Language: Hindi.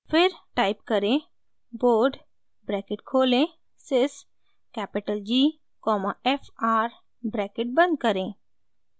फिर टाइप करें bode ब्रैकेट खोलें sys capital g comma fr bracket बंद करें